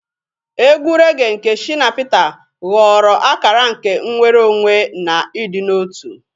Egwu regee nke Shina Peter ghọrọ akara nke nnwere onwe na ịdị n'otu.